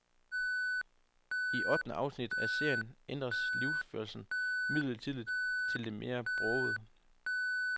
I ottende afsnit af serien ændres livsførelsen midlertidigt til det mere brogede.